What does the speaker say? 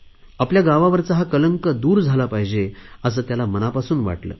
आपल्या गावावरचा हा कलंक दूर झाला पाहिजे असे त्याला मनापासून वाटले